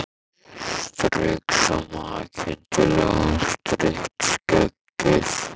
Strauk svo makindalega um strítt skeggið.